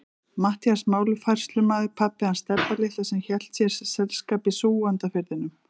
Matthías málafærslumaður, pabbi hans Stebba litla sem hélt þér selskap í Súgandafirðinum.